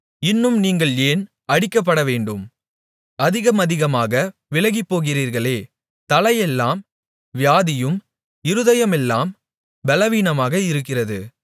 இன்னும் நீங்கள் ஏன் அடிக்கப்படவேண்டும் அதிகமதிகமாக விலகிப்போகிறீர்களே தலையெல்லாம் வியாதியும் இருதயமெல்லாம் பெலவீனமாக இருக்கிறது